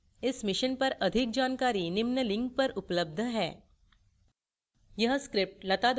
इस mission पर अधिक जानकारी निम्न लिंक पर उपलब्ध है